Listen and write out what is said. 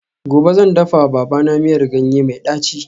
Gobe ​​zan dafawa babana miyar ganye mai daci